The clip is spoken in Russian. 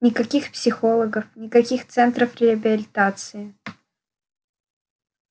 никаких психологов никаких центров реабилитации